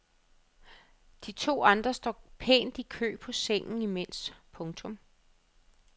De to andre står pænt i kø på sengen imens. punktum